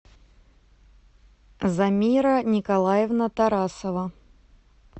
замира николаевна тарасова